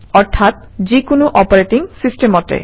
অৰ্থাৎ যিকোনো অপোৰেটিং চিষ্টেমতে